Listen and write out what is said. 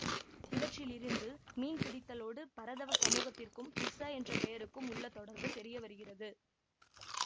இவற்றிலிருந்து மீன் பிடித்தலோடு பரதவ சமூகத்திற்கும் திஸ என்ற பெயருக்கும் உள்ள தொடர்பு தெரியவருகிறது